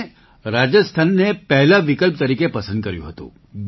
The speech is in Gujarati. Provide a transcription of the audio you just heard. તો મેં રાજસ્થાનને પહેલા વિકલ્પ તરીકે પસંદ કર્યું હતું